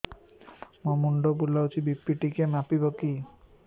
ମୋ ମୁଣ୍ଡ ବୁଲାଉଛି ବି.ପି ଟିକିଏ ମାପିବ କି